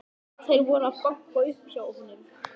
Þeir voru að banka upp á hjá honum.